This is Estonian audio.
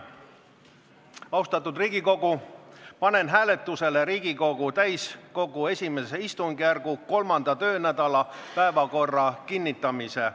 Austatud Riigikogu, panen hääletusele Riigikogu täiskogu I istungjärgu 3. töönädala päevakorra kinnitamise.